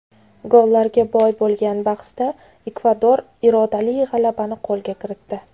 Gollarga boy bo‘lgan bahsda Ekvador irodali g‘alabani qo‘lga kiritdi.